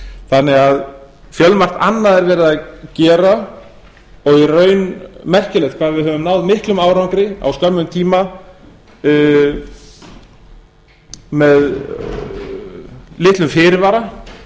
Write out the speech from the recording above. þannig að fjölmargt annað er verið að gera og í raun merkilegt hvað við höfum náð miklum árangri á skömmum tíma með litlum fyrirvara